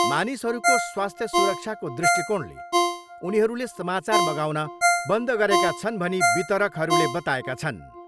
मानिसहरूको स्वास्थ्य सुरक्षाको दृष्टिकोणले उनीहरूले समाचार मगाउन बन्द गरेका छन् भनी वितरकहरूले बताएका छन्।